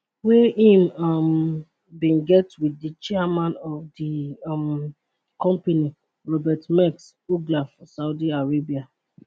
wey im um bin get wit di chairman of di um company robert maersk uggla for saudi arabia